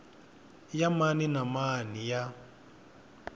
ya mani na mani ya